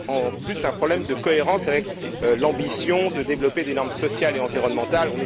En outre, il y a un problème de cohérence face à l'ambition de développer des normes sociales et environnementales.